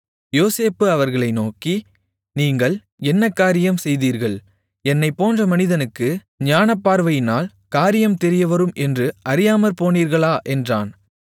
யோசேப்பு அவர்களை நோக்கி நீங்கள் என்ன காரியம் செய்தீர்கள் என்னைப் போன்ற மனிதனுக்கு ஞானப்பார்வையினால் காரியம் தெரியவரும் என்று அறியாமற்போனீர்களா என்றான்